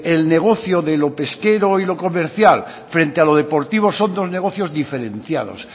el negocio de lo pesquero y lo comercial frente a lo deportivo son dos negocios diferenciados